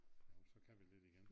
Jo så kan vi lidt igen